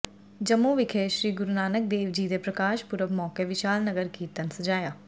ਜੰਮੂ ਵਿਖੇ ਸ੍ਰੀ ਗੁਰੂ ਨਾਨਕ ਦੇਵ ਜੀ ਦੇ ਪ੍ਰਕਾਸ਼ ਪੁਰਬ ਮੌਕੇ ਵਿਸ਼ਾਲ ਨਗਰ ਕੀਰਤਨ ਸਜਾਇਆ